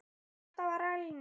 Þetta var rælni.